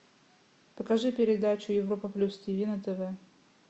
покажи передачу европа плюс тв на тв